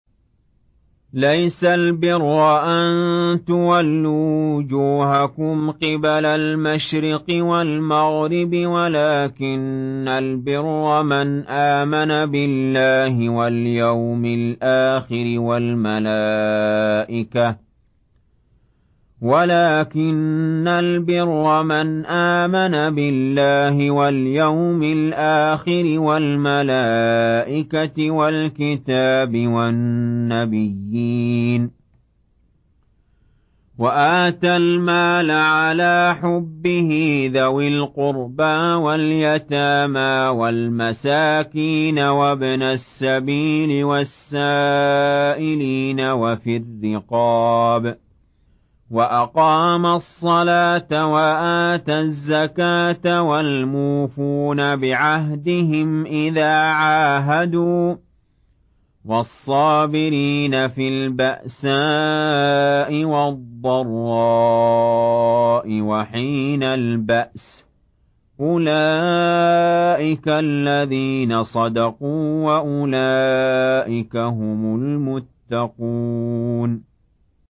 ۞ لَّيْسَ الْبِرَّ أَن تُوَلُّوا وُجُوهَكُمْ قِبَلَ الْمَشْرِقِ وَالْمَغْرِبِ وَلَٰكِنَّ الْبِرَّ مَنْ آمَنَ بِاللَّهِ وَالْيَوْمِ الْآخِرِ وَالْمَلَائِكَةِ وَالْكِتَابِ وَالنَّبِيِّينَ وَآتَى الْمَالَ عَلَىٰ حُبِّهِ ذَوِي الْقُرْبَىٰ وَالْيَتَامَىٰ وَالْمَسَاكِينَ وَابْنَ السَّبِيلِ وَالسَّائِلِينَ وَفِي الرِّقَابِ وَأَقَامَ الصَّلَاةَ وَآتَى الزَّكَاةَ وَالْمُوفُونَ بِعَهْدِهِمْ إِذَا عَاهَدُوا ۖ وَالصَّابِرِينَ فِي الْبَأْسَاءِ وَالضَّرَّاءِ وَحِينَ الْبَأْسِ ۗ أُولَٰئِكَ الَّذِينَ صَدَقُوا ۖ وَأُولَٰئِكَ هُمُ الْمُتَّقُونَ